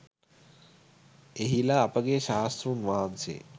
එහිලා අපගේ ශාස්තෘන් වහන්සේ